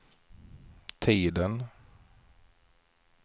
tiden